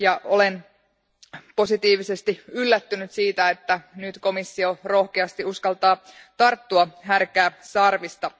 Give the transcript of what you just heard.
Olen positiivisesti yllättynyt siitä, että nyt komissio rohkeasti uskaltaa tarttua härkää sarvista.